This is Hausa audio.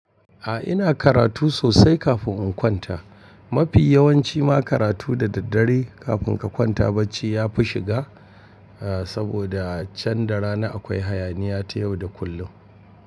A ina karatu sosai kafin in kwanta. Mafi yawanci ma karatu da daddare kafin ka kwanta bacci ya fi shiga, eh saboda can da rana akwai hayaniya ta yau da kullum.